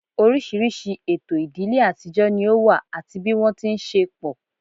Oríṣiríṣi ètò ìdílé àtijọ́ ni ó wà àti bí wọ́n ti ń ṣe pọ̀